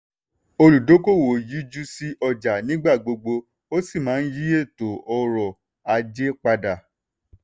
olùdókòwò yíjú sí ọjà nígbà gbogbo ó sì máa yí ètò ọrọ̀ ajé padà.